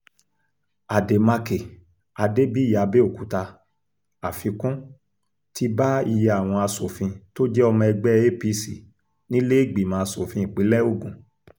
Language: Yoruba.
àdèmàkè adébíyìàbẹ̀òkúta àfikún ti bá iye àwọn asòfin tó jẹ́ ọmọ ẹgbẹ́ apc nílẹ̀ẹ́gbìmọ̀ asòfin ìpínlẹ̀ ogun